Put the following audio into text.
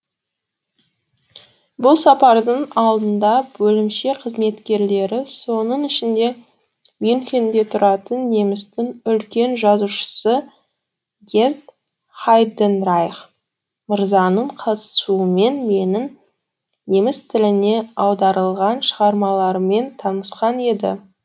бұл сапардың алдында бөлімше қызметкерлері соның ішінде мюнхенде тұратын немістің үлкен жазушысы герт хайденрайх мырзаның қатысуымен менің неміс тіліне аударылған шығармаларыммен танысқан еді